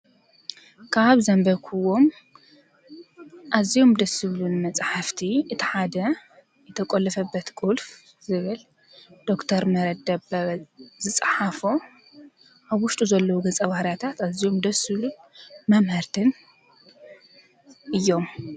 ካብ ዘንበብኩዎም ኣዝዮም ደስ ዝብሉኒ መፅሓፍቲ እቲ ሓደ "የተቆለፈበት ቁልፍ" ዝብል ዶ/ር ምህረት ደበበ ዝፀሓፎ ኣብ ውሽጡ ዘለው ገፀ-ባህርያታት ኣዝዮም ደስ ዝብሉን መምሀርትን እዮም፡፡